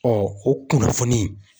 o kunnafoni